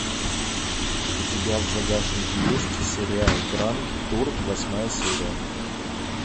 у тебя в загашнике есть сериал гранд тур восьмая серия